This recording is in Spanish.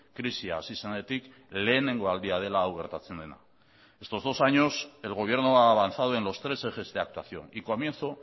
krisia hasi zenetik lehenengo aldia dela hau gertatzen dena estos dos años el gobierno ha avanzado en los tres ejes de actuación y comienzo